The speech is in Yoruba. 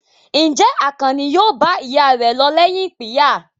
Ǹjẹ́ Àkànní yóò bá ìyá rẹ̀ lọ lẹ́yìn ìpínyà?